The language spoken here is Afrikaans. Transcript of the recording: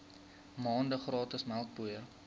maande gratis melkpoeier